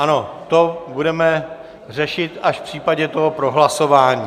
Ano, to budeme řešit až v případě toho prohlasování.